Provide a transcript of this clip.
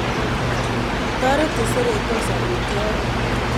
Kitoret cheseretos amiitwogik